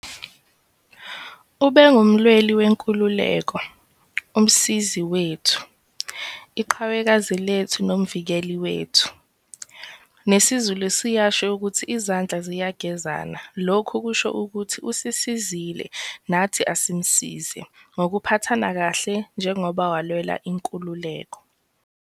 Ubengumlweli wenkululeko, umsizi wethu, iqhawekazi lethu nomvikeli wethu. Nesizulu siyasho ukuthi izandla ziyagezana lokho kusho ukuthi usisizile nathi asimsize ngokuphathana kahle njengoba walwela inkululeko.